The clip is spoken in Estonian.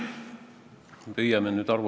Olga Ivanova, teine küsimus, palun!